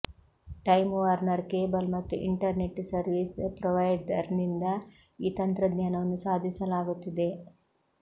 time Warner cable ಮತ್ತು internet service ಪ್ರೊವೈಡರ್ನಿಂದ ಈ ತಂತ್ರಜ್ಞಾನವನ್ನು ಸಾಧಿಸಲಾಗುತ್ತಿದೆ